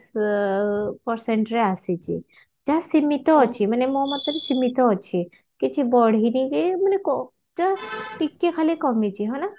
ଅ percent ରେ ଆସିଛି ଯାହା ସୀମିତ ଅଛି ମାନେ ମୋ ମତରେ ସୀମିତ ଅଛି କିଛି ବଢିନି କି ମାନେ କ just ଟିକେ ଖାଲି କମିଛି ହଁ ନା ?